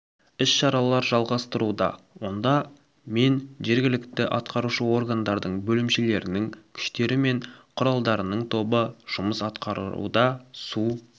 іс-шаралар жалғастыруда онда мен жергілікті атқарушы органдардың бөлімшелерінің күштері мен құралдарының тобы жұмыс атқаруда су